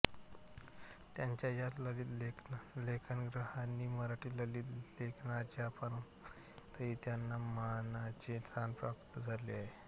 त्यांच्या या ललित लेखसंग्रहांनी मराठी ललितलेखनाच्या परंपरेतही त्यांना मानाचे स्थान प्राप्त झाले आहे